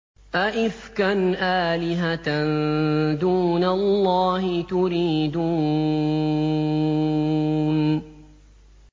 أَئِفْكًا آلِهَةً دُونَ اللَّهِ تُرِيدُونَ